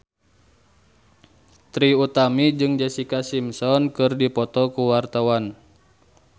Trie Utami jeung Jessica Simpson keur dipoto ku wartawan